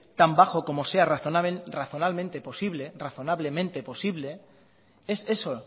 tan bajo como sea razonablemente posible es eso